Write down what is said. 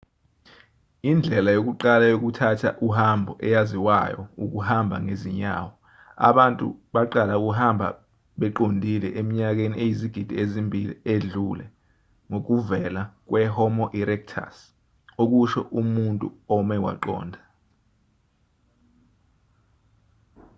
indlela yokuqala yokuthatha uhambo eyaziwayo ukuhamba ngezinyawo abantu baqala ukuhamba beqondile eminyakeni eyizigidi ezimbili edlule ngokuvela kwe-homo erectus okusho umuntu ome waqonda